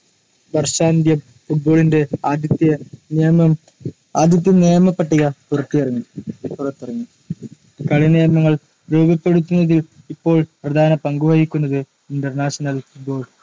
വർഷാന്ത്യം ഫുട്ബോളിന്റെ ആദ്യത്തെ നിയമം ആദ്യത്തെ നിയമ പട്ടിക പുറത്തിറങ്ങി. പുറത്തിറങ്ങി കളിനിയമങ്ങൾ രൂപപ്പെടുത്തുന്നതിൽ ഇപ്പോൾ പ്രധാന പങ്കു വഹിക്കുന്നത്‌ international football